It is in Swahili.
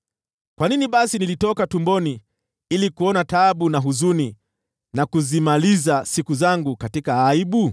Kwa nini basi nilitoka tumboni ili kuona taabu na huzuni, na kuzimaliza siku zangu katika aibu?